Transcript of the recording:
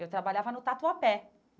Eu trabalhava no Tatuapé.